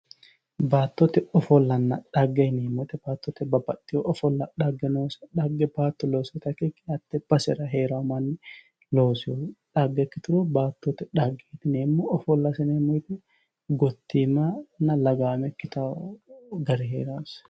Baattote ofollanna dhagge yineemmo woyiite babbaxitewoo ofolla xagge nooseta xagge baatto loosira ikkikkinni mitte basera heerawoo manni loosawoo xagge ikkituro baattote xagge yineemmohu gottiimanna lagaame ikkitawoo gari heerawoose